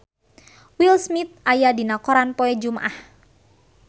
Will Smith aya dina koran poe Jumaah